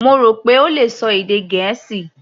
Mo rò pé ó le ṣọ èdè Gẹ̀ẹ́sì.